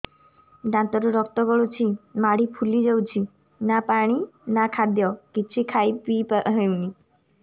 ଦାନ୍ତ ରୁ ରକ୍ତ ଗଳୁଛି ମାଢି ଫୁଲି ଯାଉଛି ନା ପାଣି ନା ଖାଦ୍ୟ କିଛି ଖାଇ ପିଇ ହେଉନି